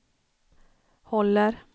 håller